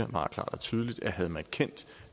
klart og tydeligt siger at havde man kendt